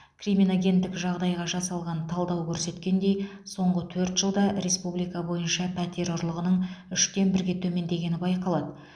криминогендік жағдайға жасалған талдау көрсеткендей соңғы төрт жылда республика бойынша пәтер ұрлығының үштен бірге төмендегені байқалады